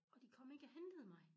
Og de kom ikke og hentede mig